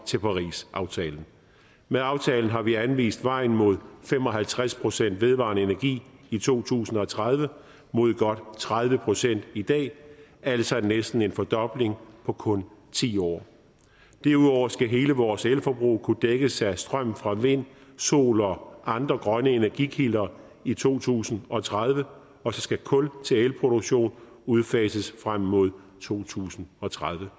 til parisaftalen med aftalen har vi anvist vejen mod fem og halvtreds procent vedvarende energi i to tusind og tredive mod godt tredive procent i dag altså næsten en fordobling på kun ti år derudover skal hele vores elforbrug kunne dækkes af strøm fra vind sol og andre grønne energikilder i to tusind og tredive og så skal kul til elproduktion udfases frem mod to tusind og tredive